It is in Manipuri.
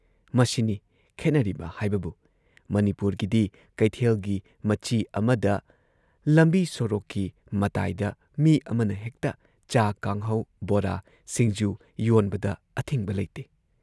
ꯃꯁꯤꯅꯤ ꯈꯦꯠꯅꯔꯤꯕ ꯍꯥꯏꯕꯕꯨ ꯃꯅꯤꯄꯨꯔꯒꯤꯗꯤ ꯀꯩꯊꯦꯜꯒꯤ ꯃꯆꯤ ꯑꯃꯗ, ꯂꯝꯕꯤ ꯁꯣꯔꯣꯛꯀꯤ ꯃꯇꯥꯏꯗ ꯃꯤ ꯑꯃꯅ ꯍꯦꯛꯇ ꯆꯥ ꯀꯥꯡꯍꯧ, ꯕꯣꯔꯥ, ꯁꯤꯡꯖꯨ ꯌꯣꯟꯕꯗ ꯑꯊꯤꯡꯕ ꯂꯩꯇꯦ꯫